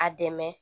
A dɛmɛ